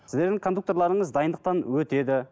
сіздердің кондукторларыңыз дайындықтан өтеді